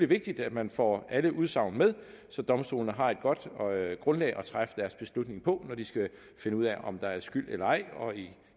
vigtigt at man får alle udsagn med så domstolene har et godt grundlag at træffe deres beslutning på når de skal finde ud af om der er skyld eller ej og